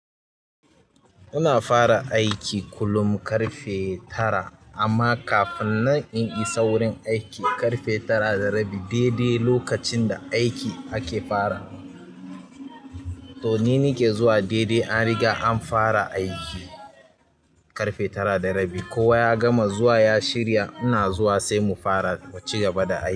Muna fara aiki kullum ƙarfe tara amma kafinnan in isa wajan aiki ƙarfe tara da rabi daidai lokacin da aiki ake farawa to ni nake zuwa daidai an riga an fara aiki. Ƙarfe tara da rabi. Kowa ya gama zuwa ya shirya. Ina zuwa sai mu fara mu ci gaba da aiki.